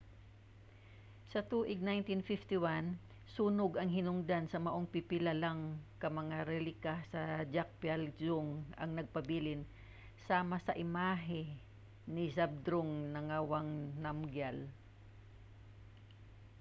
sa tuig 1951 sunog ang hinungdan maong pipila lang ka mga relika sa drukgyal dzong ang nagpabilin sama sa imahe ni zhabdrung ngawang namgyal